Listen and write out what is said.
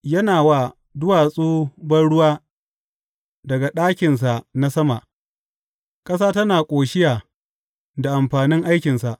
Yana wa duwatsu banruwa daga ɗakinsa na sama; ƙasa tana ƙoshiya da amfanin aikinsa.